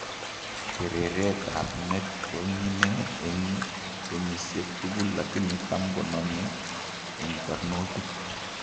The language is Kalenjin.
Kereret ab met konyine eng'kenyisiek tugul lakini tam konome eng' barnotik